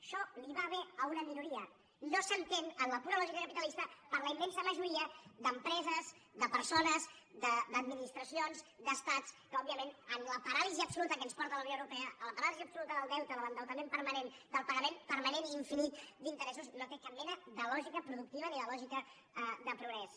això li va bé a una minoria no s’entén en la pura lògica capitalista per a la immensa majoria d’empreses de persones d’administracions d’estats que òbviament en la paràlisi absoluta a què ens porta la unió europea a la paràlisi absoluta del deute de l’endeutament permanent del pagament permanent i infinit d’interessos no té cap mena de lògica productiva ni de lògica de progrés